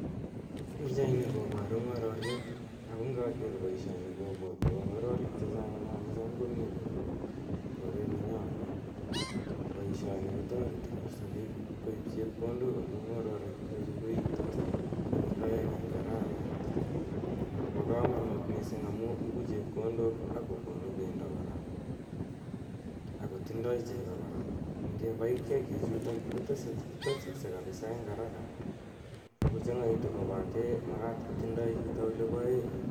Pichaini koparu ng'ororiet ako ngaker poishoni kopwatwa ng'ororek che chang' nea che cham komi olin pa koret nenyo olin. Poishoni konl tareti kaposa pik koip chepkondok amu ng'ororichutok koiitos konyil aeng' eng' arawet ako pa kamanut missing' amu ipu chepkondok ako konu pendo kora, ako tindai cheko kora. Ngepai kiakichutok ko tesaksei kapisa eng' araka ako chang'aitu kopate makat ko tindai chito ole pae.